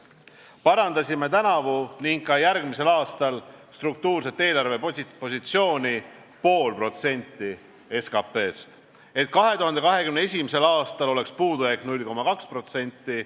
Parandasime tänavu ning ka järgmisel aastal struktuurset eelarvepositsiooni 0,5% SKP-st, et 2021. aastal oleks puudujääk 0,2%.